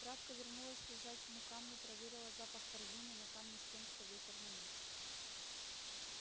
травка вернулась к лежачему камню проверила запах корзины на камне с тем что ветер нанёс